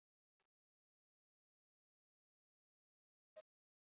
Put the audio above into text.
Þannig að mögulega hefði Andri átt að fá seinna gula og því rautt?